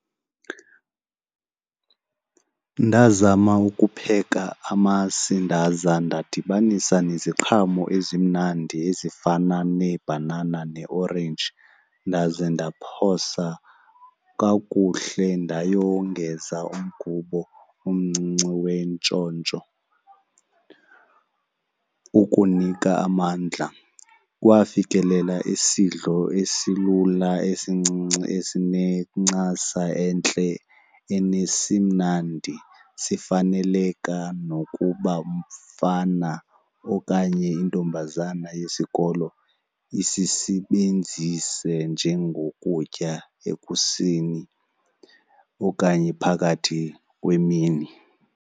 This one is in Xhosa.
Ndazama ukupheka amasi ndaza ndadibanisa neziqhamo ezimnandi ezifana neebhanana neeorenji, ndaze ndiphosa kakuhle ndayewongeza umgubo umncinci wentshontsho ukunika amandla. Kwafikelela isidlo esilula esincinci esinencasa entle enesimnandi sifaneleka nokuba umfana okanye intombazana yesikolo isisebenzise njengokutya ekuseni okanye phakathi kwemini.